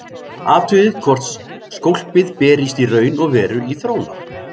Athugið hvort skólpið berist í raun og veru í þróna.